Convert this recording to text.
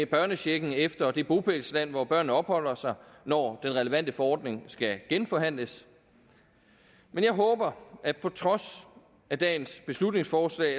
børnechecken efter det bopælsland hvor børnene opholder sig når den relevante forordning skal genforhandles men jeg håber at på trods af dagens beslutningsforslag